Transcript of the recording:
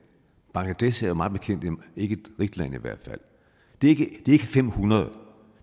bangladesh er mig bekendt ikke et rigt land det er ikke fem hundrede